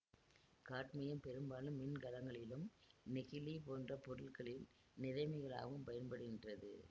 cadmium பெரும்பாலும் மின்கலங்களிலும் நெகிழி போன்ற பொருட்களில் நிறமிகளாகவும் பயன்படுகின்றது